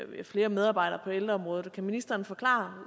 flere medarbejdere på ældreområdet kan ministeren forklare